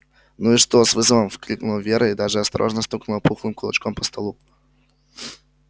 ну и что с вызовом выкрикнула вера и даже осторожно стукнула пухлым кулачком по столу